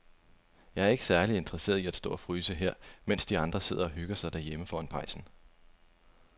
Jeg er ikke særlig interesseret i at stå og fryse her, mens de andre sidder og hygger sig derhjemme foran pejsen.